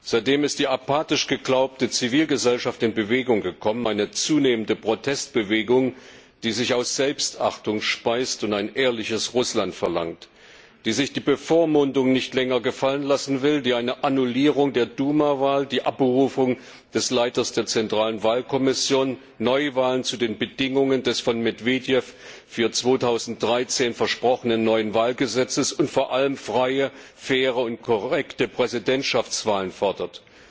Seitdem ist die apathisch geglaubte Zivilgesellschaft in Bewegung gekommen eine zunehmende Protestbewegung, die sich aus Selbstachtung speist und ein ehrliches Russland verlangt, die sich die Bevormundung nicht länger gefallen lassen will, die eine Annullierung der Duma Wahl, die Abberufung des Leiters der zentralen Wahlkommission, Neuwahlen zu den Bedingungen des von Medwedew für 2013 versprochenen neuen Wahlgesetzes und vor allem freie, faire und korrekte Präsidentschaftswahlen fordert.